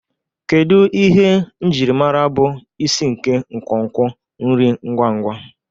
Kedu ihe njirimara bụ isi nke nkwonkwo nri ngwa ngwa?